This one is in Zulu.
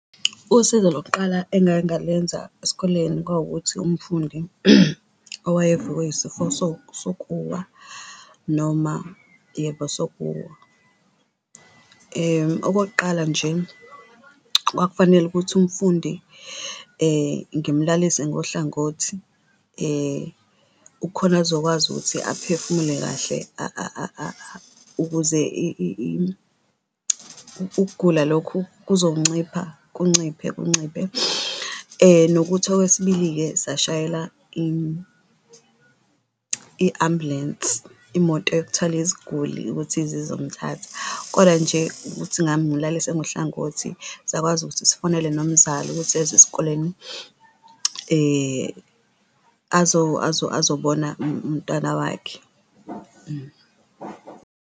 Usizo lokuqala engake ngalenza esikoleni kwawukuthi umfundi owayevukwe isifo sokuwa noma yebo sokuwa. Okokuqala nje, kwakufanele ukuthi umfundi ngimlalise ngohlangothi kukhona azokwazi ukuthi aphefumule kahle ukuze ukugula lokhu kuzoncipha kunciphe, kunciphe. Nokuthi okwesibili-ke, sashayela in i-ambulensi imoto yokuthwala iziguli ukuthi ize izomthatha, koda nje ukuthi ngamulalise ngohlangothi sakwazi ukuthi sifonele nomzali ukuthi eze esikoleni azobona umntwana wakhe.